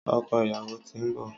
ọkọ ìyàwó tín nbọ